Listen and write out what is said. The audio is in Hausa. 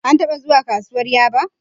An taba zuwa kasuwar Yaba